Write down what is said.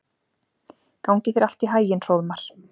Gangi þér allt í haginn, Hróðmar.